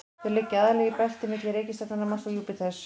þau liggja aðallega í belti milli reikistjarnanna mars og júpíters